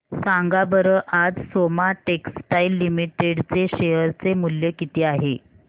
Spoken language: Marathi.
सांगा बरं आज सोमा टेक्सटाइल लिमिटेड चे शेअर चे मूल्य किती आहे